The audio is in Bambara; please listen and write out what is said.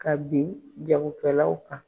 Ka bin jagokɛlaw kan.